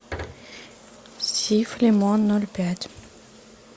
сиф лимон ноль пять